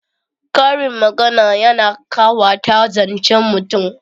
Karin magana yana ƙawata zancen mutum